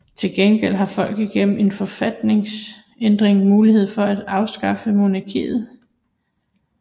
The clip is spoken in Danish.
Til gengæld har folket gennem en forfatningsændring mulighed for at afskaffe monarkiet